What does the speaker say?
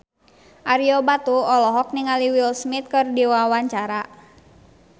Ario Batu olohok ningali Will Smith keur diwawancara